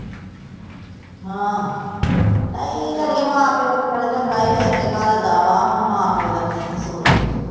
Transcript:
ਹਾ ਨਹੀਂ ਅੜੀਏ ਮਾਂ ਪਿਉ ਵਿਚਾਰਾ ਚੰਗਾ ਈ ਵੇਖ ਕੇ ਘੱਲਦਾ ਵਾਂ ਹੁਣ ਮਾਂ ਪਿਉ ਦਾ ਕੀ ਕਸੂਰ ਵਾਂ